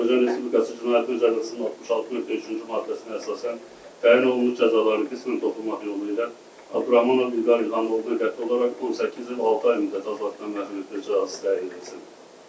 Azərbaycan Respublikası Cinayət Məcəlləsinin 66.3-cü maddəsinə əsasən təyin olunmuş cəzaları qismən toplanmaq yolu ilə Abduraxmanov İlqar İlham oğluna qəti olaraq 18 il 6 ay müddətinə azadlıqdan məhrum etmə cəzası təyin edilsin.